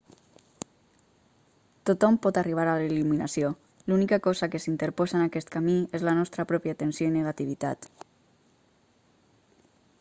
tothom pot arribar a la il·luminació l'única cosa que s'interposa en aquest camí és la nostra pròpia tensió i negativitat